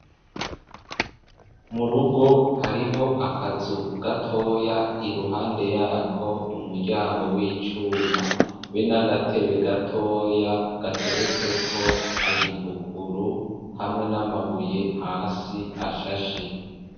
Mu rugo, hariho akazu gatoya, iruhande y'ako umuryango w'icuma, be n'agatebe gatoya, gateretseko igipukuru, hamwe n'amabuye hasi ashashe.